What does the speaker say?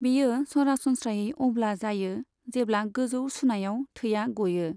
बेयो सरासनस्रायै अब्ला जायो जेब्ला गोजौ सुनायाव थैया गयो।